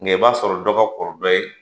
Ngɛ i b'a sɔrɔ dɔ ka kɔrɔ dɔ ye